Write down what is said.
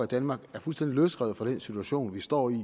danmark er fuldstændig løsrevet fra den situation vi står i